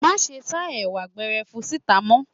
Má ṣe ṣáá Ẹ̀wà gberefun síta mọ́!